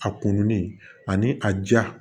A kumunen ani a ja